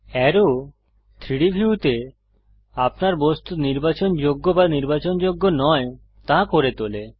arrow 3ডি ভিউতে আপনার বস্তু নির্বাচনযোগ্য বা নির্বাচনযোগ্য নয় করে তোলে